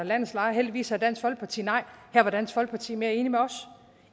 landets lejere heldigvis sagde dansk folkeparti nej her var dansk folkeparti mere enige med os